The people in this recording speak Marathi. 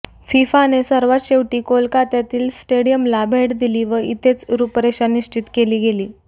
फिफाने सर्वात शेवटी कोलकात्यातील स्टेडियमला भेट दिली व इथेच रुपरेषा निश्चित केली गेली